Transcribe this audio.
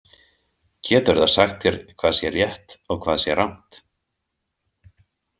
Getur það sagt þér hvað sé rétt og hvað sé rangt?